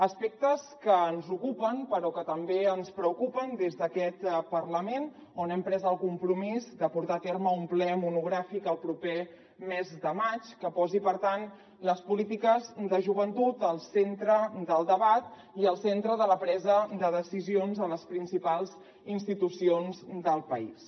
aspectes que ens ocupen però que també ens preocupen des d’aquest parlament on hem pres el compromís de portar a terme un ple monogràfic el proper mes de maig que posi per tant les polítiques de joventut al centre del debat i al centre de la presa de decisions a les principals institucions del país